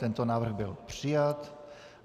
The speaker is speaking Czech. Tento návrh byl přijat.